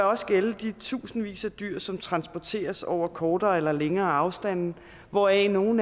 også gælde de tusindvis af dyr som transporteres over kortere eller længere afstande hvoraf nogle